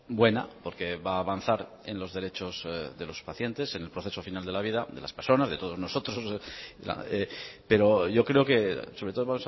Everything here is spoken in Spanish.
buena porque va a avanzar en los derechos de los pacientes en el proceso final de la vida de las personas de todos nosotros pero yo creo que sobre todo